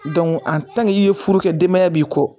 i ye furu kɛ denbaya b'i kɔ